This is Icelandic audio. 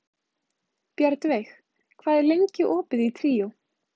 Bjarnveig, hvað er lengi opið í Tríó?